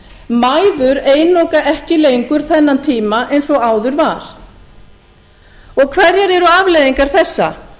kominn mæður einoka ekki lengur þennan tíma eins og áður var og hverjar eru afleiðingar þessa